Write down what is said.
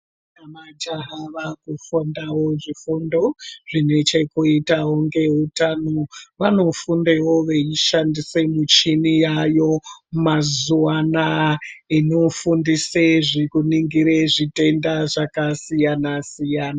....namajaha vaakufundawo zvifundo zvine chekuitawo ngeutano. Vanofundewo veishandisa michini yaayo mazuva anaa inofundise zvekuningire zvitenda zvakasiyana-siyana.